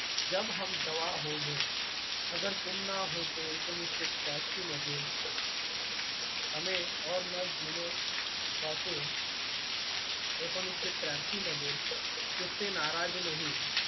जब हम जवां होंगे अगर तुम न होते एकोणीसशे त्र्यांशी मध्ये हमे ओर न जीने एकोणीसशे त्र्यांशी मध्ये तुझसे नाराज नहीं